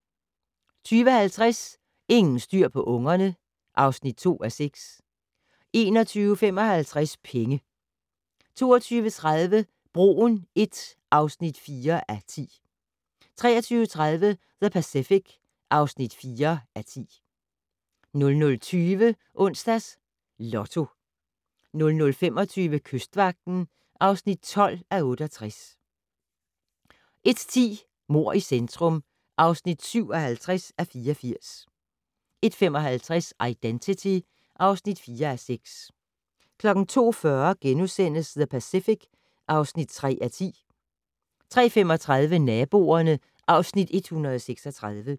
20:50: Ingen styr på ungerne (2:6) 21:55: Penge 22:30: Broen I (4:10) 23:30: The Pacific (4:10) 00:20: Onsdags Lotto 00:25: Kystvagten (12:68) 01:10: Mord i centrum (57:84) 01:55: Identity (4:6) 02:40: The Pacific (3:10)* 03:35: Naboerne (Afs. 136)